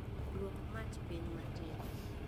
Duok mach piny matin